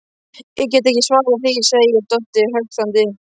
Ég get ekki svarað því, segir Doddi höktandi.